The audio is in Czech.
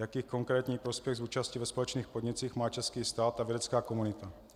Jaký konkrétní prospěch z účasti ve společných podnicích má český stát a vědecká komunita?